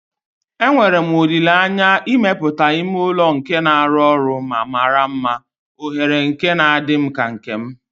Enwere m olile anya imepụta ime ụlọ nke na-arụ ọrụ ma mara mma, oghere nke na-adị m ka nke m.